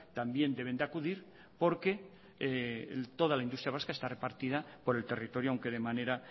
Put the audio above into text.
también deben de acudir porque toda la industria vasca está repartida por el territorio aunque de manera